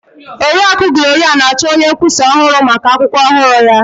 Oriakụ Gloria na-achọ onye nkwụsa ọhụrụ maka akwụkwọ ọhụrụ ya.